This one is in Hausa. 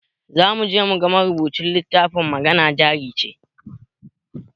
Zamuje muga marubucin littafin magana jarice